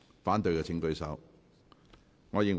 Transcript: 反對的請舉手。